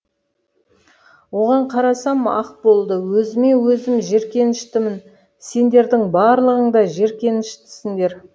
оған қарасам ақ болды өзіме өзім жеркеніштімін сендердің барлығың да жеркеніштісіңдер